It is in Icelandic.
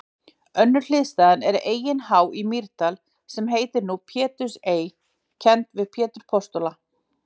Önnur hliðstæða er Eyin há í Mýrdal, sem nú heitir Pétursey, kennd við Pétur postula.